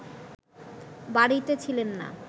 বাড়িতে ছিলেন না